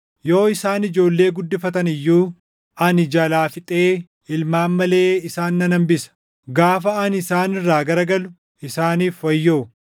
Yoo isaan ijoollee guddifatan iyyuu ani jalaa fixee ilmaan malee isaan nan hambisa. Gaafa ani isaan irraa garagalu isaaniif wayyoo!